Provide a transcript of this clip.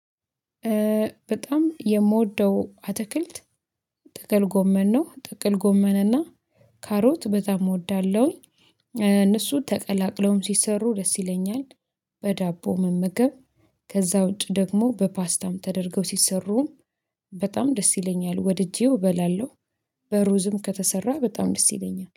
በጣም የምወደው አትክልት ጥቅል ጎመን ነው ጥቅል ጎመን እና ካሮት በጣም እወዳለሁኝ። እነሱ ተቀላቅለውም ሲሰሩ ደስ ይለኛል። በዳቦ መመገብ ከዛ ውጪ ደግሞ በፓስታም ተደርገው ሲሰሩም። በጣም ደስ ይለኛል ወድጄው እበላለሁ። በሩዝም ከተሰራ በጣም ደስ ይለኛል